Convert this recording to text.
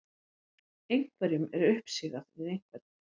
Einhverjum er uppsigað við einhvern